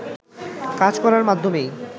কাজ করার মাধ্যমেই